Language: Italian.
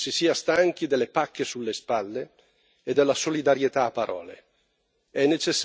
Credo che si sia stanchi delle pacche sulle spalle e della solidarietà a parole.